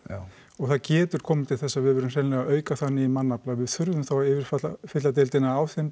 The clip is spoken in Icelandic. og það getur komið til þess að við verðum hreinlega að auka þannig í mannafla að við þurfum þá að yfirfylla deildina á þeim